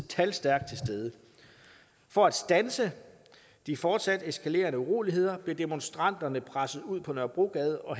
talstærkt til stede for at standse de fortsat eskalerende uroligheder blev demonstranterne presset ud på nørrebrogade og